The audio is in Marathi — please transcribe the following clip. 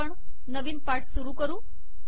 आता आपण नवीन पाठ सुरू करू